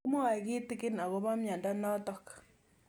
Kimwae kitig'in akopo miondo notok